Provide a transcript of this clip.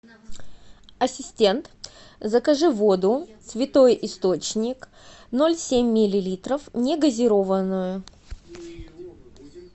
ассистент закажи воду святой источник ноль семь миллилитров негазированную